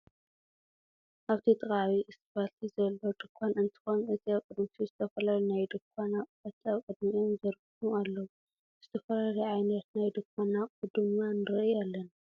ኣብቲ ጥቃ ዓብይ እስፓልቲ ዘሎ ድንኳን እንትኮን እዚ ኣብ ቅድሚቱ ዝተፈላለዩ ናይ ድንኳን ኣቁሑት ኣብ ቅድሚቶም ዘርጉሖም ኣለዉ። ዝተፈላለዩ ዓይነት ናይ ድንኳን ኣቁሑ ድማ ንርኢ ኣለና።